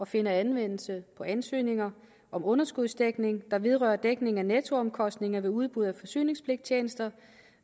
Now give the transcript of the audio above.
finder anvendelse på ansøgninger om underskudsdækning der vedrører dækning af nettoomkostninger ved udbud af forsyningspligttjenester